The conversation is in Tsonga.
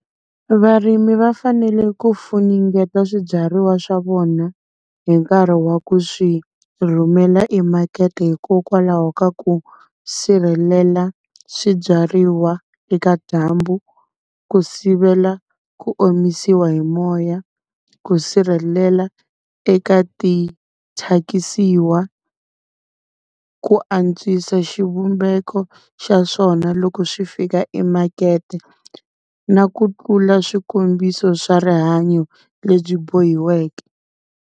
Varimi va fanele ku funengeta swibyariwa swa vona hi nkarhi wa ku swi rhumela emakete, hikokwalaho ka ku sirhelela swibyariwa eka dyambu, ku sivela ku omisiwa hi moya, ku sirhelela eka tithyakisiwa. Ku antswisa xivumbeko xa swona loko swi fika i makete na ku tlula swikombiso swa rihanyo lebyi bohiwaka.